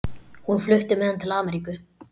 Hún flutti með hann til Ameríku.